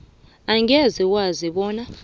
angeze wazi bona